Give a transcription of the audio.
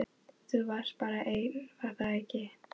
Þú varst bara einn, var það ekki?